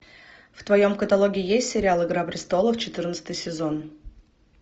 в твоем каталоге есть сериал игра престолов четырнадцатый сезон